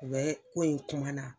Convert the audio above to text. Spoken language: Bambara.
U bɛɛ ko in kuma na